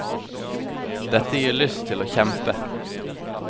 Dette gir lyst til å kjempe.